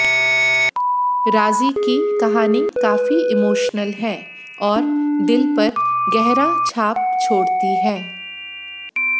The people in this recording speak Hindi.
राज़ी की कहानी काफी इमोशनल है और दिल पर गहरा छाप छोड़ती है